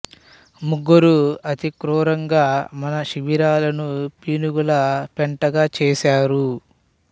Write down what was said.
ముగ్గురూ అతి క్రూరంగా మన శిబిరాలను పీనుగుల పెంటగా చేసారు